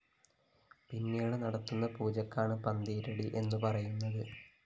പിന്നീട് നടത്തുന്ന പൂജയ്ക്കാണ് പന്തീരടി എന്നു പറയുന്നത്